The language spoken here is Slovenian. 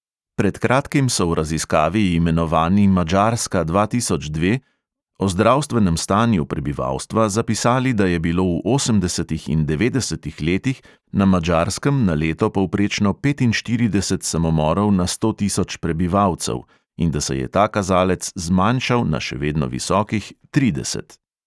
Pred kratkim so v raziskavi, imenovani madžarska dva tisoč dve, o zdravstvenem stanju prebivalstva zapisali, da je bilo v osemdesetih in devetdesetih letih na madžarskem na leto povprečno petinštirideset samomorov na sto tisoč prebivalcev in da se je ta kazalec zmanjšal na še vedno visokih trideset.